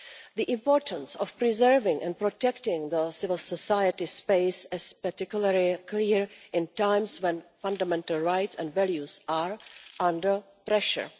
The importance of preserving and protecting the civil society space is particularly clear in times when fundamental rights and values are under pressure.